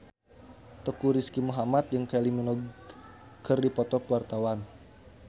Teuku Rizky Muhammad jeung Kylie Minogue keur dipoto ku wartawan